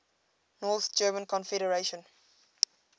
north german confederation